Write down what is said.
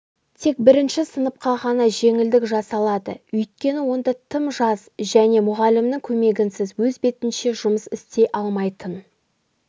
тек бірінші сыныпқа ғана жеңілдік жасалады өйткені онда тым жас және мұғалімнің көмегінсіз өз бетінше жұмыс істей алмайтын